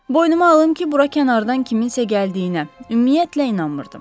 Boynuma alım ki, bura kənardan kiminsə gəldiyinə, ümumiyyətlə inanmırdım.